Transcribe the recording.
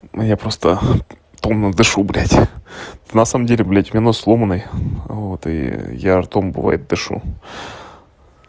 я просто томно дышу блядь на самом деле блядь у меня нос сломанный вот и я ртом бывает дышу